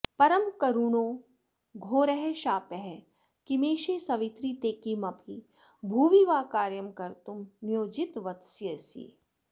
परमकरुणो घोरः शापः किमेष सवित्रि ते किमपि भुवि वा कार्यं कर्तुं नियोजितवत्यसि